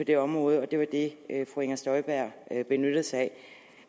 det område og det var det fru inger støjberg benyttede sig af